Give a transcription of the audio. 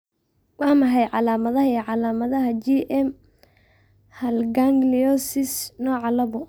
Waa maxay calaamadaha iyo calaamadaha GM haal gangliosidosis nooca laabo?